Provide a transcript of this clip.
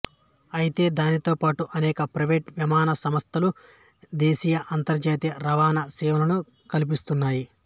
అయితే దానితోపాటు అనేక ప్రైవేటు విమానయాన సంస్థలు దేశీయ అంతర్జాతీయ రవాణా సేవలను కల్పిస్తున్నాయి